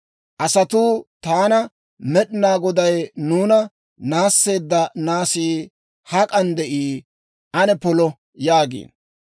Asatuu taana, «Med'inaa Goday nuuna naasseedda naasii hak'an de'ii? Ane polo!» yaagiino.